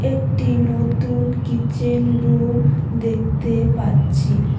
একটি নতুন kitchen room দেখতে পাচ্ছি।